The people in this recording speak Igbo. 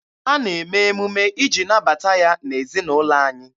A na-eme emume iji nabata ya n'ezinaụlọ anyị.